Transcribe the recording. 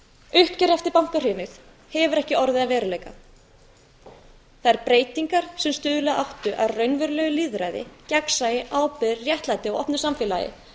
uppgjör eftir bankahrunið hefur ekki orðið að veruleika þær breytingar sem stuðla áttu að raunverulegu lýðræði gegnsæi ábyrgð réttlæti og opnu samfélagi